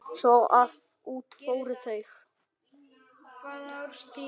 Svo að út fóru þau.